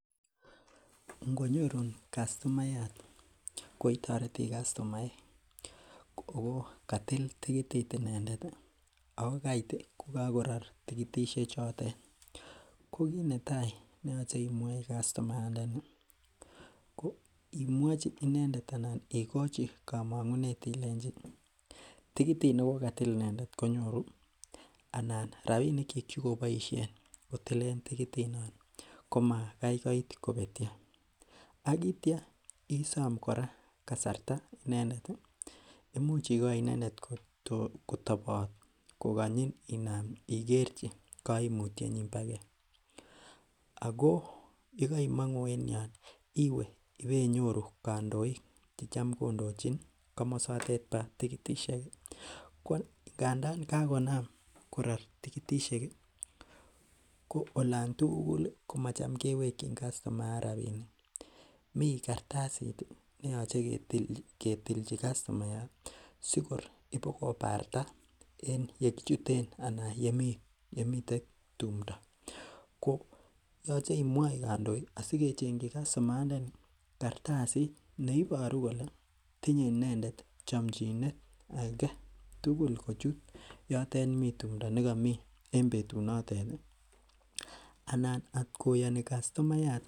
Ngonyorun kastomayat koketoreti kastomaek ako katil tikitit inendet ih ako kait ko kakoror tikitisiek chotet ko kit netaa neyoche imwochi kastomayatndani ko imwochi inendet anan ikochi komong'unet ilenji tikitit nekokatil inendet konyoru anan rapinik kyik chekoboisien kotilen tikitit non komakai koit kobetyo ak itya isom kora kasarta inendet ih imuch ikoi inendet kotobot kokonyin inam ikerchi koimutyet nyin bogee ako yekoimong'u en yon iwe ibeinyoru kandoik chetam kondochin komosotet bo tikititisiek ko ngandan kakonam koror tikitisiek ih ko olan tugul ih komatam kewekyin kastomayat rapinik, mii kartasit neyoche ketilchi kastomayat sikor ibokobarta en yekichuten anan yemiten tumdo ko yoche imwoi kandoik asikechengyi kastomayatndani neiboru kole tinye inendet chomchinet aketugul kochut yotet mii tumdo nekomii en betut notet ih anan atkoyoni kastomayat